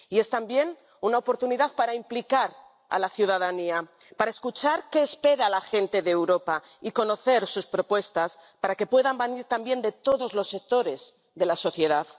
Y es también una oportunidad para implicar a la ciudadanía, para escuchar qué espera la gente de Europa y conocer sus propuestas, para que puedan venir también de todos los sectores de la sociedad.